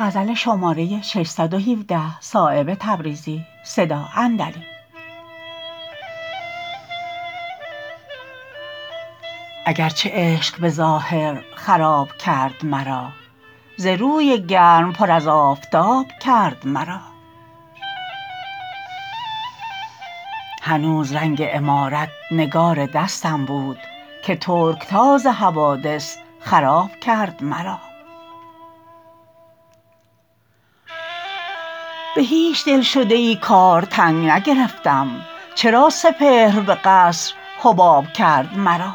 اگر چه عشق به ظاهر خراب کرد مرا ز روی گرم پر از آفتاب کرد مرا هنوز رنگ عمارت نگار دستم بود که ترکتاز حوادث خراب کرد مرا به هیچ دلشده ای کار تنگ نگرفتم چرا سپهر به قصر حباب کرد مرا